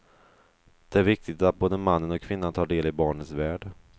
Det är viktigt att både mannen och kvinnan tar del i barnets värld.